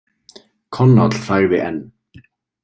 Konáll þagði enn.